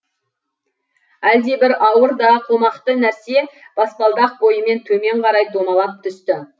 әлдебір ауыр да қомақты нәрсе баспалдақ бойымен төмен қарай домалап түсті